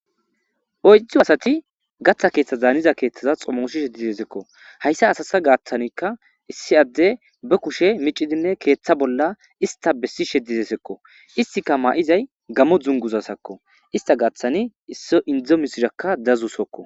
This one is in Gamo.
Oyidu asati gatha keeththaza danatiza keeththaza xomosishe dizaziko. Hayisa asata gathanika issi ade ba kushe mic'idine keeththa bola issta besishe dizeysiko. Issika maizay Gamoza dunguzasako. Ista gidonika issi endo mishiraka dazusuko.